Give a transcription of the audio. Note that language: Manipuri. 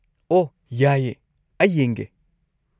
ꯑꯣꯍ, ꯌꯥꯏꯌꯦ, ꯑꯩ ꯌꯦꯡꯒꯦ꯫